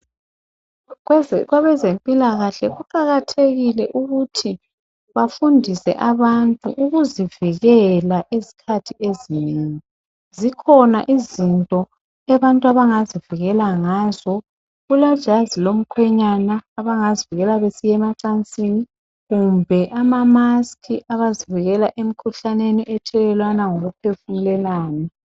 Kwabezempilakahle kuqakathelile ukuthi bafundise abantu ukuzivikele esikhathi ezinengi. Zikhona izinto abantu abangazivikela ngazo, kulejazi lomkhwenyana, abangazivikela besiyemacansini, kumbe amamasiki abazivikela emkhuhlaneni ethelelwana ngokuphefumulelana.